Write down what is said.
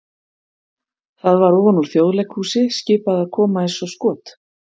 það var ofan úr Þjóðleikhúsi skipað að koma eins og skot!